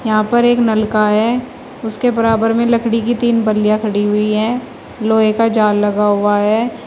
यहां पर एक नलका है उसके बराबर में लकड़ी की तीन बलिया खड़ी हुई है लोहे का जाल लगा हुआ है।